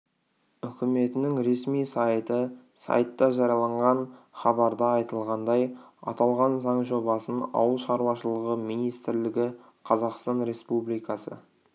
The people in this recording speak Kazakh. үкіметінің ресми сайты сайтта жарияланған хабарда айтылғандай аталған заң жобасын ауыл шаруашылығы министрлігі қазақстан республикасы